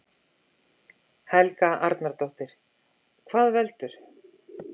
Helga Arnardóttir: Hvað veldur?